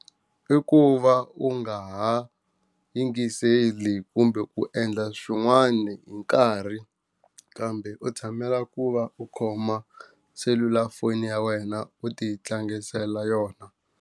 I ku va u nga ha yingiseli kumbe ku endla swin'wani hi nkarhi kambe u tshamela ku va u khoma selulafoni ya wena u ti tlangiseka yona.